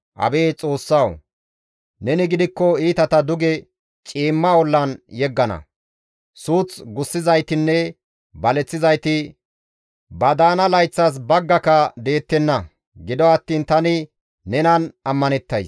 Abeet Xoossawu! Neni gidikko iitata duge ciimma ollan yeggana. Suuth gussizaytinne baleththizayti ba daana layththas baggaka deettenna; gido attiin tani nenan ammanettays.